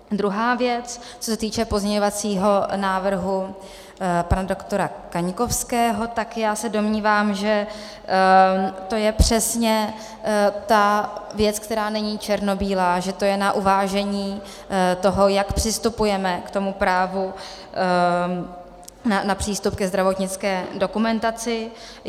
Druhá věc, co se týče pozměňovacího návrhu pana doktora Kaňkovského, tak já se domnívám, že to je přesně ta věc, která není černobílá, že to je na uvážení toho, jak přistupujeme k tomu právu na přístup ke zdravotnické dokumentaci.